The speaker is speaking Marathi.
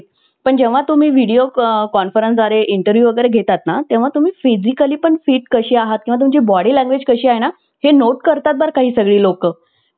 पण जेव्हा तुम्ही video conference द्वारे interview वगैरे घेतात ना तेव्हा तुम्ही physically पण fit कसे आहात किंवा तुमची body language कशी आहे ना हे note करतात बरं का ही सगळी लोकं